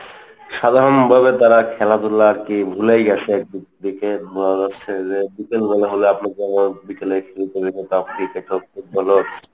সাধারণ ভাবে তারা খেলাধুলা আর কি ভুলেই গেছে এক দিক থেকে বোঝা যাচ্ছে যে বিকাল বেলা হলে আপনি যেমন বিকালে খেলতে যেতেন cricket হোগ football হোগ।